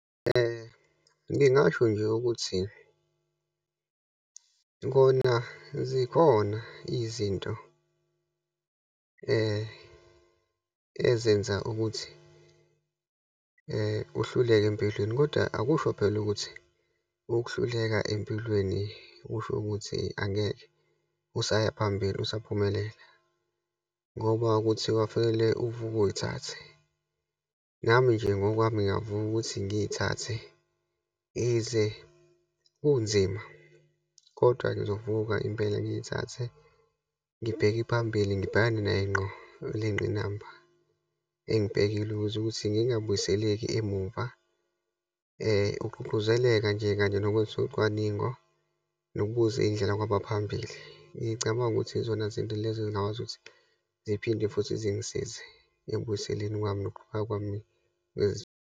Ngingasho nje ukuthi kona zikhona izinto ezenza ukuthi uhluleka empilweni, kodwa akusho phela ukuthi ukuhluleka empilweni kusho ukuthi angeke usaya phambili, usaphumelela. Ngoba kuthiwa kufanele uvuke uyithathe. Nami nje ngokwami ngiyavuka ukuthi ngiyithathe, ize kunzima kodwa ngizovuka impela ngiyithathe, ngibheke phambili, ngibhekane naye ngqo le ngqinamba engibhekile ukuze ukuthi ngingabuyiseleki emuva. Ukugqugquzeleka nje kanye nokwenza ucwaningo, nokubuza iyindlela kwabaphambili, ngicabanga ukuthi yizona zinto lezo ezingakwazi ukuthi ziphinde futhi zingisize ekubuyiselweni kwami nokuqhubeka kwami .